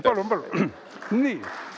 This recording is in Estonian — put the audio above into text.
Palun-palun!